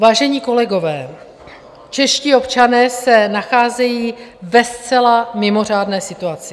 Vážení kolegové, čeští občané se nacházejí ve zcela mimořádné situaci.